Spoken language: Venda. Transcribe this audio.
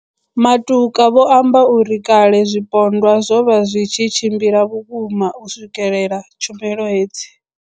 Matuka vho amba uri kale zwipondwa zwo vha zwi tshi tshimbila vhukuma u swikelela tshumelo hedzi.